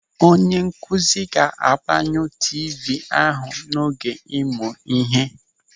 Onye nkụzi ga-agbanyụ tiivii ahụ n'oge ịmụ ihe.